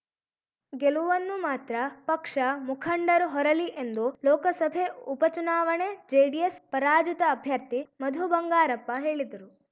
ಗೆಲುವನ್ನು ಮಾತ್ರ ಪಕ್ಷ ಮುಖಂಡರು ಹೊರಲಿ ಎಂದು ಲೋಕಸಭೆ ಉಪ ಚುನಾವಣೆ ಜೆಡಿಎಸ್‌ ಪರಾಜಿತ ಅಭ್ಯರ್ಥಿ ಮಧು ಬಂಗಾರಪ್ಪ ಹೇಳಿದರು